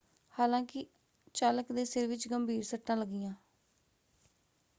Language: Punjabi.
ਹਾਲਾਂਕਿ ਚਾਲਕ ਦੇ ਸਿਰ ਵਿੱਚ ਗੰਭੀਰ ਸੱਟਾਂ ਲੱਗੀਆਂ।